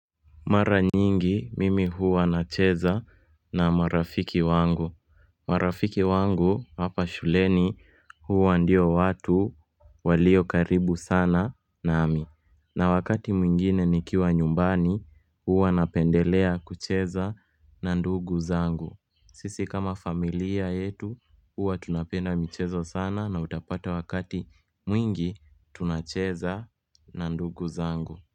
Mara nyingi mimi huwa na cheza na marafiki wangu marafiki wangu hapa shuleni huwa ndio watu walio karibu sana nami na wakati mwingine ni kiwa nyumbani huwa napendelea kucheza na ndugu zangu Sisi kama familia yetu huwa tunapenda mchezo sana na utapata wakati mwingi tunacheza na ndugu zangu.